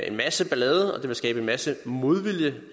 en masse ballade det ville skabe en masse modvilje